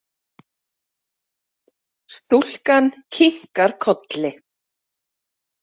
Stúlkan kinkar kolli.